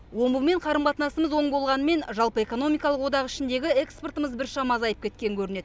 омбымен қарым қатынасымыз оң болғанымен жалпы экономикалық одақ ішіндегі экспортымыз біршама азайып кеткен көрінеді